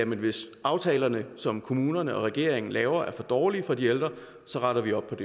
hvis aftalerne som kommunerne og regeringen laver er for dårlige for de ældre så retter vi op